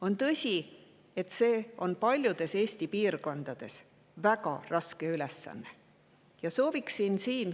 On tõsi, et paljudes Eesti piirkondades on see väga raske ülesanne.